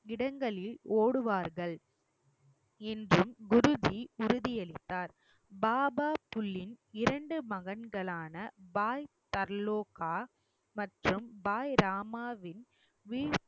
இடங்களில் ஓடுவார்கள் என்றும் குருஜி உறுதியளித்தார் பாபா புல்லின் இரண்டு மகன்களான பாய் தர்லோகா மற்றும் பாய் ராமாவின்